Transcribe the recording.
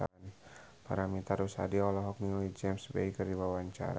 Paramitha Rusady olohok ningali James Bay keur diwawancara